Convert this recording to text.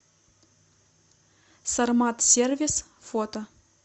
сармат сервис фото